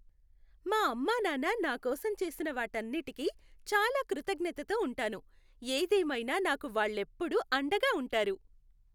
మా అమ్మా నాన్న నా కోసం చేసిన వాటన్నిటికీ చాలా కృతజ్ఞతతో ఉంటాను. ఏదేమైనా నాకు వాళ్లెప్పుడూ అండగా ఉంటారు.